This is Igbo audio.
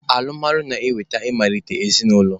Alụmalụ na-eweta ị malite ezinaụlọ